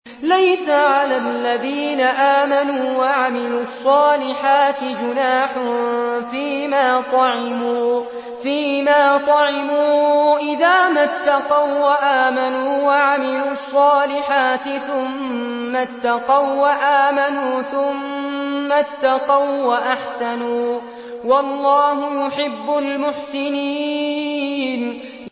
لَيْسَ عَلَى الَّذِينَ آمَنُوا وَعَمِلُوا الصَّالِحَاتِ جُنَاحٌ فِيمَا طَعِمُوا إِذَا مَا اتَّقَوا وَّآمَنُوا وَعَمِلُوا الصَّالِحَاتِ ثُمَّ اتَّقَوا وَّآمَنُوا ثُمَّ اتَّقَوا وَّأَحْسَنُوا ۗ وَاللَّهُ يُحِبُّ الْمُحْسِنِينَ